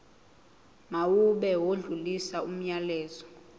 mawube odlulisa umyalezo